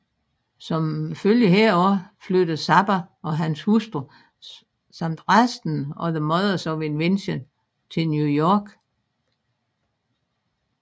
Som følge heraf flyttede Zappa og hans hustru samt resten af The Mothers of Invention til New York